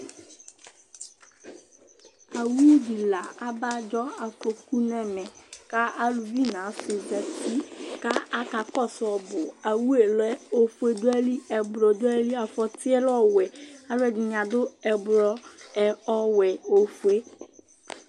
Awʋ dila abadzʋ afɔkʋ nʋ ɛmɛ, kʋ alʋvi nʋ asi zzti Akakɔsʋ ɔbʋ awʋ yɛlɛ ofue dʋ ayili, ɛblɔ dʋ ayili, afɔti yɛlɛ ɔwʋɛ alʋɛdini adʋ ɛblɔ, ɔwɛ, ofue